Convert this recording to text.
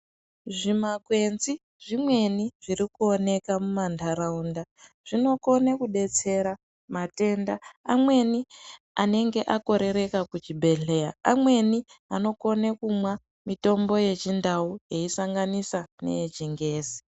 Zvimakwenzi zvimweni zvirikuoneka mumanharaunda zvinokona kudetsera matenda amweni anenge akoreraka kuzvibhedhleya ,amweni anokona kumwa mitombo yechindau veisanganisa neyechingezi.